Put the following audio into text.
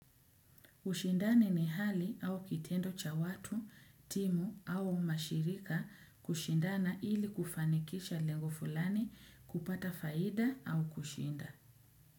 Ushindani ni hali au kitendo cha watu, timu au mashirika kushindana ili kufanikisha lengo fulani kupata faida au kushinda.